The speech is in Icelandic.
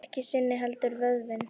Ekki sinin heldur vöðvinn.